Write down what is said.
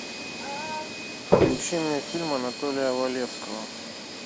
включи мне фильм анатолия валевского